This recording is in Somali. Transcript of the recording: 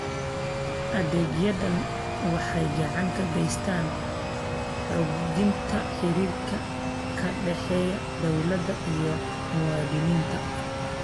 Adeegyadani waxay gacan ka geystaan ??xoojinta xiriirka ka dhexeeya dawladda iyo muwaadiniinta.